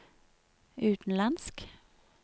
utenlandsk